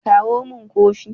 kawo min Kofi!